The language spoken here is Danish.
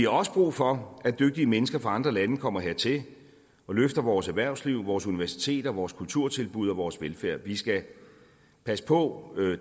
også brug for at dygtige mennesker fra andre lande kommer hertil og løfter vores erhvervsliv vores universiteter vores kulturtilbud og vores velfærd vi skal passe på